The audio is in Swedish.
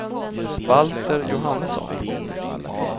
Valter Johannesson